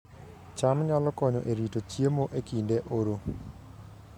cham nyalo konyo e rito chiemo e kinde oro